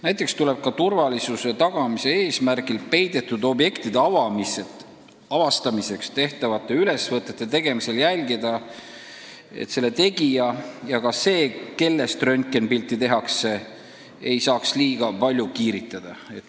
Näiteks tuleb turvalisuse tagamise eesmärgil ka peidetud objektide avastamiseks tehtavate ülesvõtete tegemisel jälgida, et nii nende tegija kui ka see, kellest röntgenipilti tehakse, ei saaks liiga palju kiiritada.